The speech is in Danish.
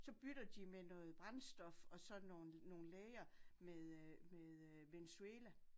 Så bytter de med noget brændstof og sådan nogle nogle læger med Venezuela